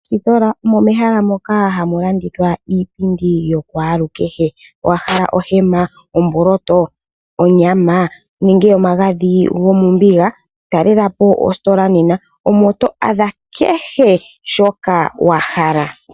Mositola omo mehala mpoka hamu landithwa iipindi ya kwaluukehe ,wa hala ohema, omboloto, onyama nenge omagadhi gomombiga ,talela po ositola nena. Omo to adha kehe shoka wa hala.